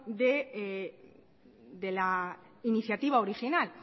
de la iniciativa original